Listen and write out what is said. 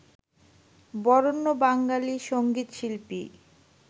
Barenya Bengali সঙ্গীতশিল্পী